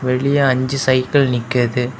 வெளிய அஞ்சு சைக்கிள் நிக்குது.